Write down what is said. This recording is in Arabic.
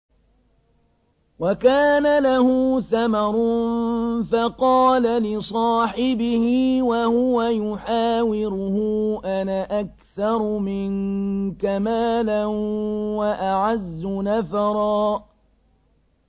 وَكَانَ لَهُ ثَمَرٌ فَقَالَ لِصَاحِبِهِ وَهُوَ يُحَاوِرُهُ أَنَا أَكْثَرُ مِنكَ مَالًا وَأَعَزُّ نَفَرًا